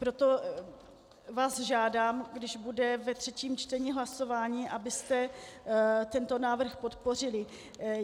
Proto vás žádám, když bude ve třetím čtení hlasování, abyste tento návrh podpořili.